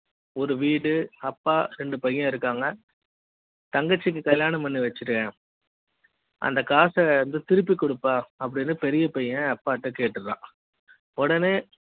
ஒரு வீடு அப்பா ரெண்டு பையன் இருக்காங்க தங்கச்சி க்கு கல்யாணம் பண்ணி வச்சிருக்கேன் அந்த காச இருந்து திருப்பி கொடுப்பா அப்படி ன்னு பெரிய பையன் அப்பாட்ட கேட்டுறான் உடனே